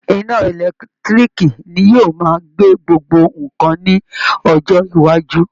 Iná ẹ̀lẹ́tiíríìkì ni yóò máa gbé gbogbo nǹkan ní ọjọ́ iwájú